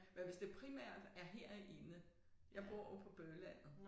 Men hvis det primært er herinde. Jeg bor ude på bøhlandet